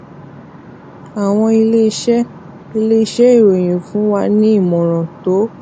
àwọn iléeṣé iléeṣé ìròyìn fún wa ní ìmòràn tó